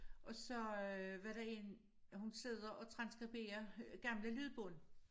Og så øh var der én hun sidder og transskriberer gamle lydbånd